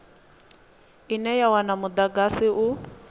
ine ya wana mudagasi u